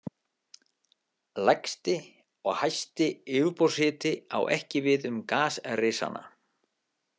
Lægsti og hæsti yfirborðshiti á ekki við um gasrisana.